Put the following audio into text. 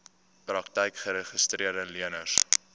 praktyke geregistreede leners